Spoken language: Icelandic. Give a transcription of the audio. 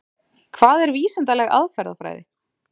Hvað er vísindaleg aðferðafræði?